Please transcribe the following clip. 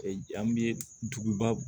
an bɛ duguba